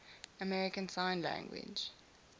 american sign language